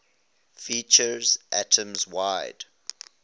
features atoms wide